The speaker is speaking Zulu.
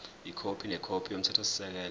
ikhophi nekhophi yomthethosisekelo